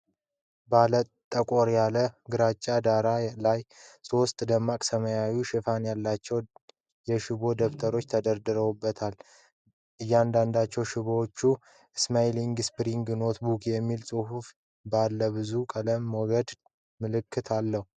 ባለ ጠቆር ያለ ግራጫ ዳራ ላይ ሶስት ደማቅ ሰማያዊ ሽፋኖች ያላቸው የሽቦ ደብተሮች ተደራርበው ይታያሉ። እያንዳንዱ ሽፋን "SIMAALINE SPIRAL NOTEBOOK" የሚል ጽሑፍ እና ባለብዙ ቀለም ሞገድ ምልክት አለው።